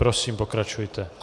Prosím, pokračujte.